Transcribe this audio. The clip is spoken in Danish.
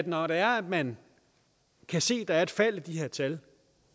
når det er at man kan se at der et fald i de her tal